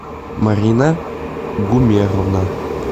марина гумеровна